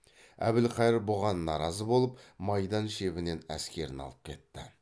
әбілхайыр бұған наразы болып майдан шебінен әскерін алып кетті